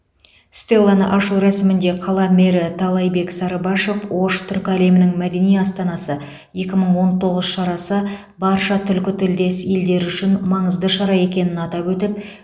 стелланы ашу рәсімінде қала мэрі талайбек сарыбашов ош түркі әлемінің мәдени астанасы екі мың он тоғыз шарасы барша түркітілдес елдері үшін маңызды шара екенін атап өтіп